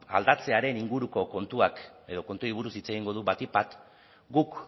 aldatzearen inguruko kontuak edo kontuei buruz hitz egingo du batik bat guk